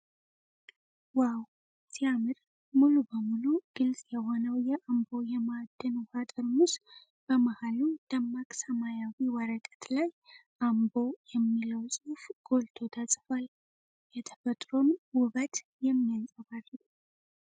ዋው፣ ሲያምር! ሙሉ በሙሉ ግልጽ የሆነው የአምቦ የማዕድን ውሃ ጠርሙስ በመሃሉ ደማቅ ሰማያዊ ወረቀት ላይ "አምቦ" የሚለው ጽሁፍ ጎልቶ ተጽፏል። የተፈጥሮን ውበት የሚያንፀባርቅ ነው።